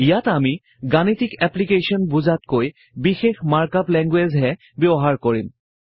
ইয়াত আমি গাণিতিক এপ্লিকেশ্বন বুজাতকৈ বিশেষ মাৰ্ক আপ লেঙ্গুৱেইজহে ব্যৱহাৰ কৰিম